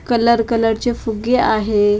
colour कलरचे फुग्गे आहे आ--